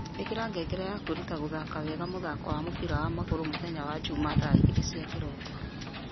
ĩkĩra ngengere ya kwĩruta gũthaka wega mũthako wa mũbira wa magũrũ mũthenya wa njuma thaa igĩrĩ cia kĩroko